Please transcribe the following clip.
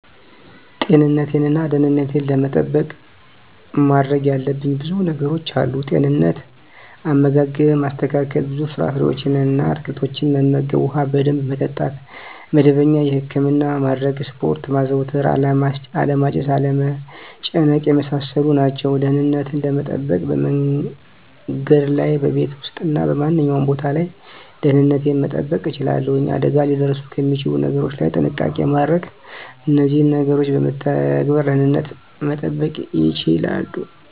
ጤንነቴን እና ደህንነቴን ለመጠበቅ ማድረግ ያለብኝ ብዙ ነገሮች አሉ፦ * ጤንነት፦ * አመጋገብን ማስተካከል፣ ብዙ ፍራፍሬዎችን እና አትክልቶችን መመገብ፣ ውሃ በደንብ መጠጣት፣ መደበኛ የህክምና ማድረግ፣ ስፖርት ማዘውተር አለማጨስ፣ አለመጨናነቅ የመሳሰሉት ናቸው። * ደህንነትን ለመጠበቅ፦ በመንገድ ላይ፣ በቤት ውስጥ እና በማንኛውም ቦታ ላይ ደህንነቴን መጠበቅ እችላለሁ። አደጋ ሊያደርሱ ከሚችሉ ነገሮች ላይ ጥንቃቄ ማድረግ እነዚህን ነገሮች በመተግበር ደህንነትን መጠበቅ ይቻላሉ።